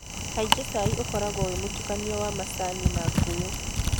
Kaingĩ cai ũkoragwo wĩ mũtukanio wa macani na ngũyũ.